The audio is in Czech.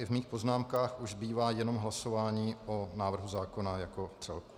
I v mých poznámkách zbývá už jenom hlasování o návrhu zákona jako celku.